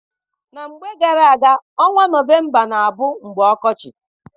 Na mgbe gara-aga, ọnwa November na-abụ mgbe ọkọchị.